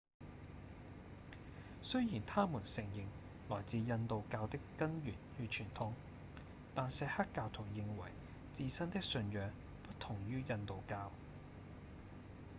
雖然他們承認來自印度教的根源與傳統但錫克教徒認為自身的信仰不同於印度教